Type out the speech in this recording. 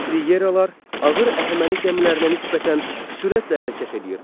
Triyeralar ağır Əhəməni gəmilərinə nisbətən sürətlə hərəkət eləyirdilər.